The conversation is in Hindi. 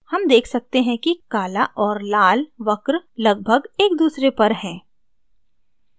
हम देख सकते हैं कि काला और लाल वक्र लगभग एक दूसरे पर हैं